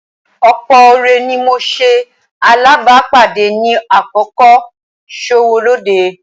Ọ̀pọ̀ ọ̀rẹ́ ni mo ṣe alábàápàdé ní àkókò kò-sówó-lóde